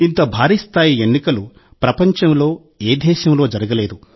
ఇంత భారీ స్థాయి ఎన్నికలు ప్రపంచంలో ఏ దేశంలో జరగలేదు